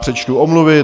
Přečtu omluvy.